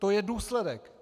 To je důsledek.